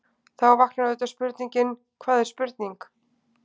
Þá vaknar auðvitað spurningin: hvað er spurning?.